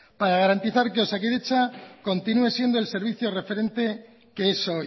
para garantizar que osakidetza continúe siendo el servicio referente que es